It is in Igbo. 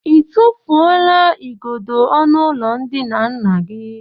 I tụfuola igodo ọnụụlọ ndina nna gị?